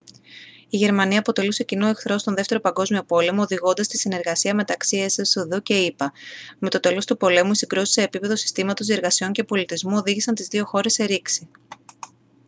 η γερμανία αποτελούσε κοινό εχθρό στον 2ο παγκόσμιο πόλεμο οδηγώντας στη συνεργασία μεταξύ εσσδ και ηπα με το τέλος του πολέμου οι συγκρούσεις σε επίπεδο συστήματος διεργασιών και πολιτισμού οδήγησαν τις δύο χώρες σε ρήξη